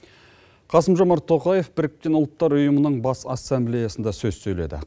қасым жомарт тоқаев біріккен ұлттар ұйымының бас ассамблеясында сөз сөйледі